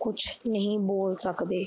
ਕੁਛ ਨਹੀਂ ਬੋਲ ਸਕਦੇ